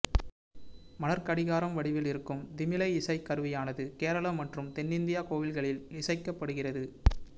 மணற்கடிகார வடிவில் இருக்கும் திமிலை இசைக்கருவியானது கேரளா மற்றும் தென்னிந்தியக் கோவில்களில் இசைக்கப்படுகிறது